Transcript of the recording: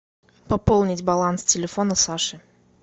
пополнить баланс телефона саши